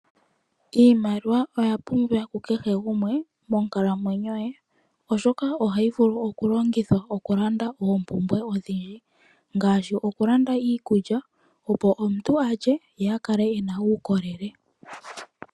Iimaliwa oya pumbiwa kukehe gumwe monkalamwenyo ye, oshoka ohayi vulu okulongithwa okulanda oompumbwe odhindji, ngaashi okulanda iikulya opo omuntu a lye, ye akala e na uukolele.